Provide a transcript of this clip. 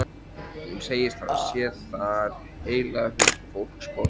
Hún segist hafa séð þar heila huldufólksborg.